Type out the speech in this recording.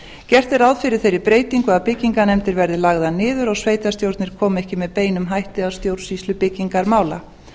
gert er ráð fyrir þeirri breytingu að byggingarnefndir verði lagðar niður og sveitarstjórnir komi ekki með beinum hætti að stjórnsýslu byggingarmála